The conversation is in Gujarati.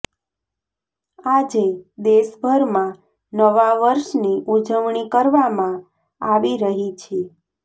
આજે દેશભરમાં નવા વર્ષની ઉજવણી કરવામાં આવી રહી છે